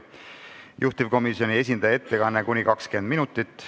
Juhtivkomisjoni esindaja ettekanne kestab kuni 20 minutit.